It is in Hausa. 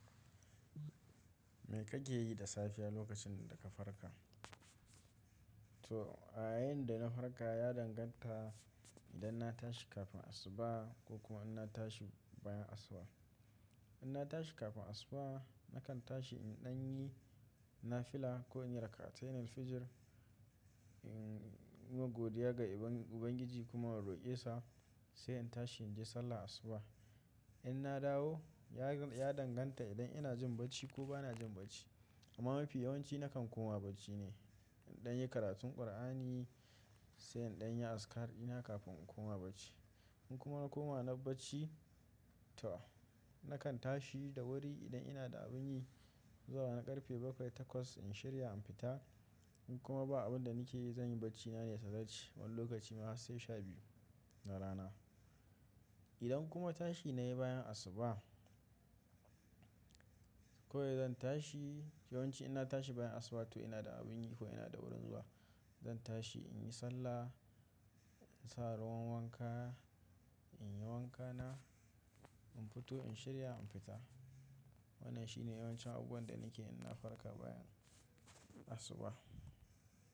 Me kake yi da safiya lokacin da ka farka? To, a yayin da na farka ya danganta idan na tashi kafin asuba ko kuma ina tashi bayan asuba. In na tashi kafin asuba, nakan tashi in ɗan yi nafila ko in yi rakatainin fijir, in yi godiya ga Ubangiji kuma roƙe sa sai in tashi in je sallar asuba. In na dawo ya danganta idan ina jin bacci ko ba na jin bacci. Amma mafi yawanci nakan koma bacci ne in ɗan yi karatun Kur'ani sai in ɗan yi azkar ina kafin in koma bacci. In kuma na koma na bacci to nakan tashi da wuri idan ina da abin yi zuwa na ƙarfe bakwai takwas in shirya in fita. In kuma ba abin da nike zan yi bacci na ne tazarci wani lokaci ma har sai sha biyu na rana. Idan kuma tashi na yi bayan asuba kawai zan tashi yawanci in na tashi bayan asuba to ina da abin yi ko ina da wurin zuwa. Zan tashi in yi sallah, in sa ruwan wanka, in yi wanka na, in fito in shirya in fita. Wannan shine yawancin abubuwan da nike in na farka bayan asuba.